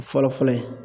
Fɔlɔ fɔlɔ ye